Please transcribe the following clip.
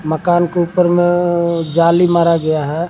मकान के ऊपर में जाली मारा गया है।